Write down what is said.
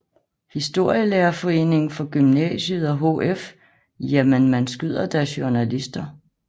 Historielærerforeningen for Gymnasiet og HF Jamen man skyder da journalister